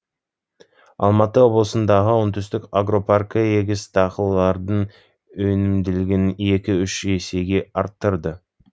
алматы облысындағы оңтүстік агропаркі егіс дақылдарының өнімділігін екі үш есеге арттырды